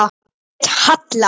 Hún hét Halla.